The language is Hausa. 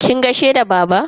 Kin gaishe da baba?